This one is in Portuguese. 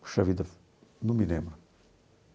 Puxa vida, não me lembro.